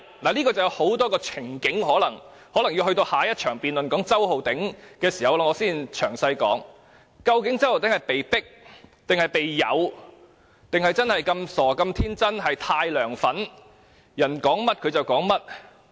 事情涉及很多情景，我可能要留待譴責周浩鼎議員的議案辯論才詳細說明，究竟周浩鼎議員是被迫、被誘，還是真的那麼傻和天真或太"梁粉"，人家說甚麼他便說甚麼。